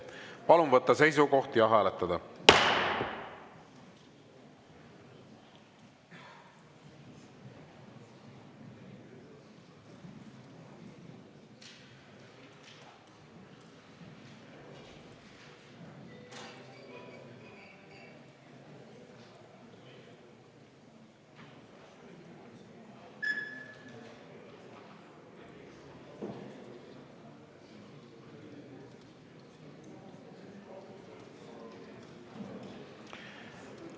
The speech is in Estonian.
Palun võtta seisukoht ja hääletada!